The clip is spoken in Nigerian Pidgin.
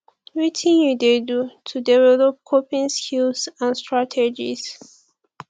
wetin you dey do to develop coping skills and strategies